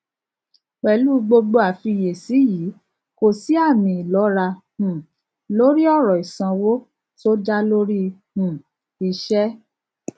pẹlú gbogbo àfiyèsí yí kò sì àmì ìlọra um lórí ọrọ ìsanwó tó dá lórí um iṣẹ